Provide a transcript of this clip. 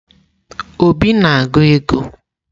Obi na-agụ ego?